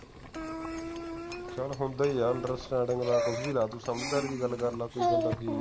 ਚੱਲ ਹੁਣ ਦੇ ਯਾਰ understanding ਲਾ ਕੁਛ ਵੀ ਲਾ ਤੂੰ ਸਮਝਦਾਰੀ ਦੀ ਗੱਲ ਕਰਲਾ ਕੋਈ ਬੰਦਾ ਕੀ ਆ